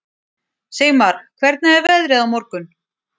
Sigmar, hvernig er veðrið á morgun?